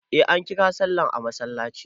Eh ankira sallah a masallaci.